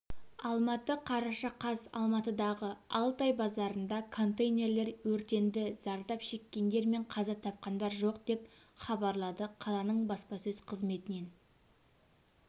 алматы қараша қаз алматыдағы алтай базарында контейнерлер өртенді зардап шеккендер мен қаза тапқандар жоқ деп хабарлады қаланың баспасөз қызметінен